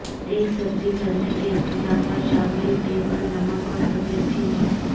ایک سبزی بھرنے کے اختتام پر شامل ٹیبل نمک اور سفید چینی